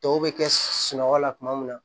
Tɔw bɛ kɛ sunɔgɔ la kuma min na